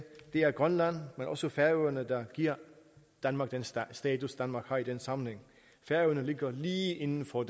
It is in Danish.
det er grønland men også færøerne der giver danmark den status danmark har i den sammenhæng færøerne ligger lige inden for